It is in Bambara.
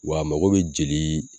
Wa a mago bɛ jeli